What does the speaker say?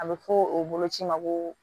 A bɛ fɔ o boloci ma ko